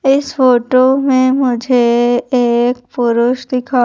इस फोटो में मुझे एक पुरुष दिखाई--